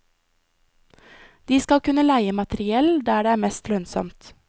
De skal kunne leie materiell der det er mest lønnsomt.